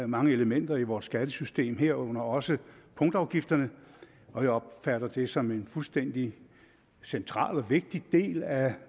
mange elementer i vores skattesystem herunder også punktafgifterne og jeg opfatter det som en fuldstændig central og vigtig del af